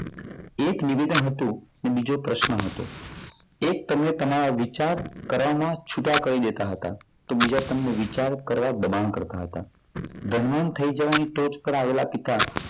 એક નિવેદન હતું મારે તો પ્રશ્ન હતો. એક તમને તમારા વિચાર કરવામાં છૂટા કરી દેતા હતા. તો બીજા તમને વિચાર કરવા દબાણ કરતા હતા. ધનવાન થઈ જવાની ટોચ પર આવેલા પિતા